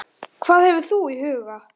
Hvað hefur þú í huga?